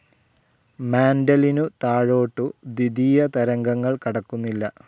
മാന്റിലിനു താഴോട്ടു ദ്വിതീയതരംഗങ്ങൾ കടക്കുന്നില്ല.